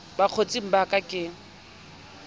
ba bokgotsing ba ke ke